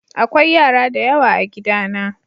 akwai yara da yawa a gida na.